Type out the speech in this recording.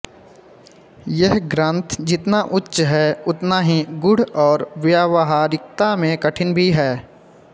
यह ग्रन्थ जितना उच्च है उतना ही गूढ़ और व्यावहारिकता में कठिन भी है